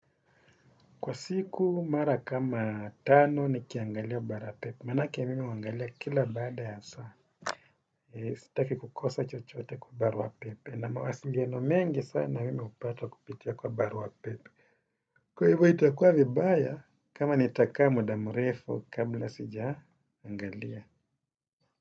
Kwa siku mara kama tano nikiangalia barua pepe. Manake mimi huangalia kila baada ya saa. Sitaki kukosa chochote kwa barua pepe. Na mawasiliano mengi sana mimi hupata kupitia kwa barua pepe. Kwa hivu itakuwa vibaya, kama nitaka mda mrefu kabla sijaangalia.